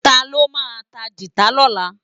Táló má tá gitá lòlá?